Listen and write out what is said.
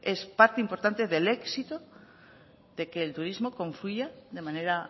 es parte importante del éxito de que el turismo confluya de manera